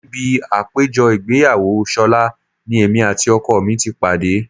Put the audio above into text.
Níbi àpéjọ ìgbéyàwó ṣọlá ni èmi àti ọkọ mi ti pàdé